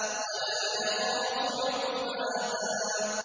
وَلَا يَخَافُ عُقْبَاهَا